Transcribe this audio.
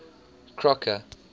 crocker